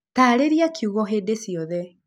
taarĩria kiugo hĩndĩ ciothe